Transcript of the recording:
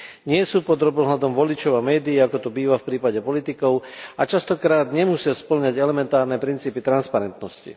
Nie sú pod drobnohľadom voličov a médií, ako to býva v prípade politikov, a častokrát nemusia spĺňať elementárne princípy transparentnosti.